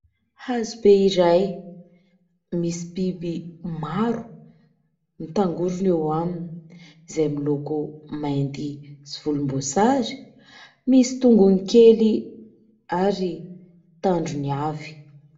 Hazobe iray misy biby maro mitangorona eo aminy , izay miloko mainty sy volom-boasary ; misy tongony kely ary tandrony avy.